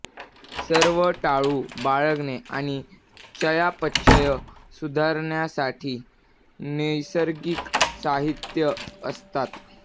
सर्व टाळू बाळगणे आणि चयापचय सुधारण्यासाठी नैसर्गिक साहित्य असतात